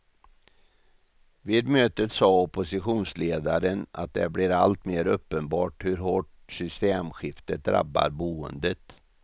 Vid mötet sa oppositionsledaren att det blir allt mer uppenbart hur hårt systemskiftet drabbar boendet.